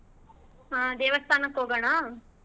ಆಹ್ ದೇವಸ್ಥಾನಕ್ ಹೋಗೋಣ?